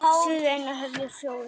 suður er ein af höfuðáttunum fjórum